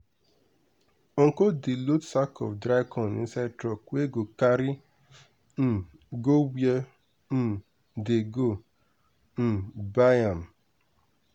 uncle dey load sack of dry corn inside truck wey go carry um go where um dey go um buy am.